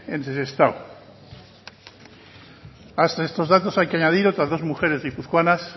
de sestao además de estos datos hay que añadir otras dos mujeres guipuzcoanas